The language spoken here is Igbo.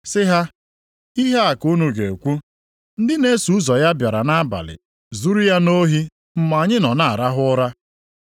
sị ha, “Ihe a ka unu ga-ekwu, ‘Ndị na-eso ụzọ ya bịara nʼabalị zuru ya nʼohi mgbe anyị nọ na-arahụ ụra.’